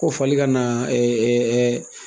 Ko fali ka na